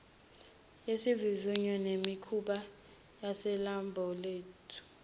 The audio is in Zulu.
yesivivinyo nemikhuba yaselabholethi